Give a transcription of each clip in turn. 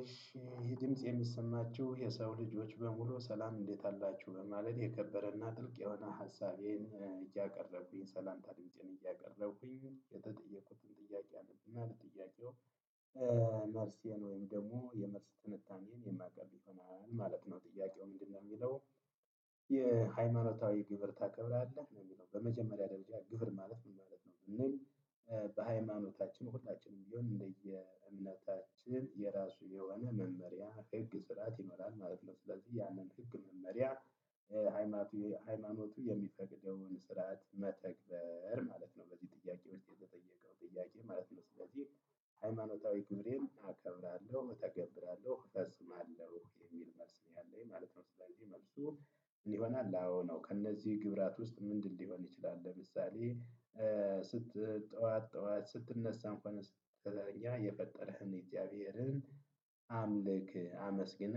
እሺ ይህ ድምጽ የሚሰማችሁ የሰው ልጆች በሙሉ ሰላም እንዴት አላችሁ በማለት የከበረና ጥልቅ የሆነ ሀሳቤን እያቀረብኩኝ ሰላምታ ድምፄን እያቀረብኩኝ የተጠየቁትን ጥያቄ አለብኝ ማለት ጥያቄው መርሴን ወይም ደግሞ የመርስ ትንታኔዬን የማቀርብ ይሆናል ማለት ነው። ጥያቄው ምንድነው ሚለው? የሃይማኖታዊ ግብር ታከብራለህ ነው የሚለው በመጀመሪያ ደረጃ ግብር ማለት ምን ማለት ነው ብንል? በሃይማኖታችን ሁላችንም ቢሆን እንደየ እምነታችን የራሱ የሆነ መመሪያ ህግ ስራት ይኖራል ማለት ነው። ስለዚህ ያንን ህግ መመሪያ ሃይማኖቴ ሃይማኖቱ የሚፈቅደውን ስርዓት መተግበር ማለት ነው። በዚህ ጥያቄ ውስጥ የተጠየቀው ጥያቄ ማለት ነው። ስለዚህ ሃይማኖታዊ ግብሬን እከብራለሁ እተገብራለሁ እፈፅማለሁ የሚል መልስ ነው ያለኝ ማለት ነው። ስለዚህ መልሱ ይሆናል አዎ ነው። ከእነዚህ ግብራት ውስጥ ምንድን ሊሆን ይችላል ለምሳሌ። ስት ጠዋት ጠዋት ስትነሳ እንኳን ስትተኛ የፈጠረህን እግዚአብሔርን አምልክ አመስግነ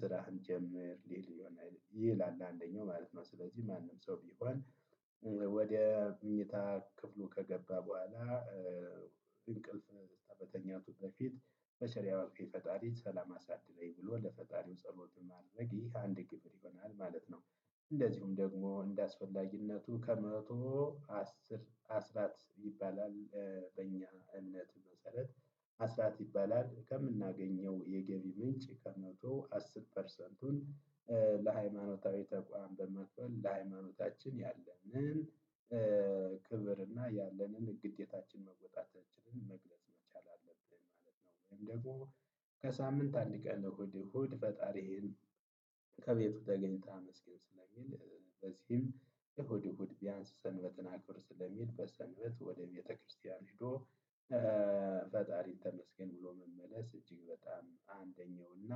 ስራህን ጀምር ሊል ይሆኔል ይላል። አንደኛው ማለት ነው ስለዚህ ማንም ሰው ቢሆን። ወደ ምኞታ ክፍሉ ከገባ በኋላ እንቅልፍ ከመተኛቱ በፊት በቸር ያዋልከኝ ፈጣሪ ሰላም አሳድረኝ ብሎ ለፈጣሪው ጸሎት ማድረግ ይህ አንድ ግብር ይሆናል ማለት ነው። እንደዚሁም ደግሞ እንደአስፈላጊነቱ ከመቶ አስር አስራት ይባላል። በእኛ እምነት መሰረት። አስራት ይባላል ከምናገኘው የገቢ ምንጭ ከመቶ አስር ፐርሰንቱን ለሃይማኖታዊ ተቋም በመክፈል ለሃይማኖታችን ያለንን ክብር እና ያለንን ግዴታችን መወጣታችንን መግለጽ መቻል አለብን ማለት ነው። ወይም ደሞ። ከሳምንት አንድ ቀን እሁድ እሁድ ፈጣሪህን ከቤቱ ተገኝተ ስለሚል በዚህም እሁድ እሁድ ቢያንስ ሰንበትን አክብር ስለሚል በሰምበት ወደ ቤተክርስቲያን ሄዶ። ፈጣሪን ተመስገን ብሎ መመለስ እጅግ በጣም አንደኛው እና።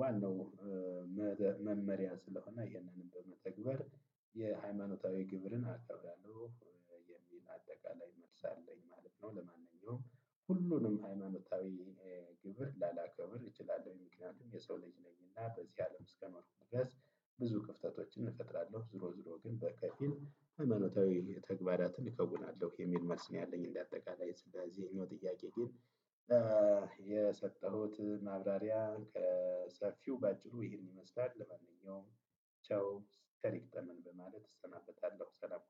ዋናው መመሪያ ስለሆነ ይሄንንም በመተግበር የሃይማኖታዊ ግብርን አከብራለው። የሚል አጠቃላይ መልስ አለኝ ማለት ነው። ለማንኛውም ሁሉንም ሃይማኖታዊ ግብር ላላከብር እችላለሁ ምክንያቱም የሰው ልጅ ነኝና በዚህ አለም እስከኖርኩበት። ብዙ ክፍተቶችን እፈጥራለሁ ዙሮ ዙሮ ግን በከፊል ሃይማኖታዊ ተግባራትን እከዉናለሁ የሚል መልስ ነው። ያለኝ እንደ አጠቃላይ ስለዚህ ይሄኛው ጥያቄ ግን። የሰጠሁት ማብራሪያ ከሰፊው ባጭሩ ይሄን ይመስላል። ለማንኛውም ቻው ቸር ይግጠመን በማለት እሰናበታለሁ። ሰላም